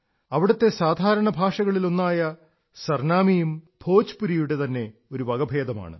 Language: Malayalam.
അവിടത്തെ സാധാരണ ഭാഷകളിൽ ഒന്നായ സർനാമിയും ഭോജ്പുരിയുടെ തന്നെ ഒരു വകഭേദമാണ്